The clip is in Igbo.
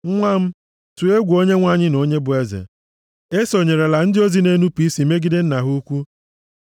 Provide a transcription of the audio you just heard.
Nwa m, tụọ egwu Onyenwe anyị na onye bụ eze, esonyerela ndị ozi na-enupu isi megide nna ha ukwu.